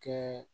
Kɛ